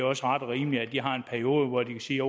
også ret og rimeligt at de har en periode hvor de kan sige